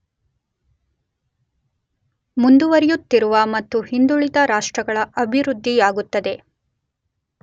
ಮುಂದುವರಿಯುತ್ತಿರುವ ಮತ್ತು ಹಿಂದುಳಿದ ರಾಷ್ಟ್ರಗಳ ಅಭಿವೃದ್ಧಿಯಾಗುತ್ತದೆ.